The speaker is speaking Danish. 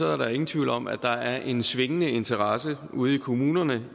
er der ingen tvivl om at der er en svingende interesse ude i kommunerne